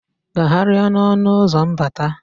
Gagharịa n'ọnụ ụzọ mbata.